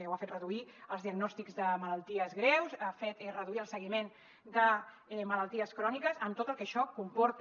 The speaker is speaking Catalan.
o ha fet reduir els diagnòstics de malalties greus ha fet reduir el seguiment de malalties cròniques amb tot el que això comporta